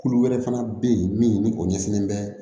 Kulu wɛrɛ fana bɛ yen min o ɲɛsinlen bɛ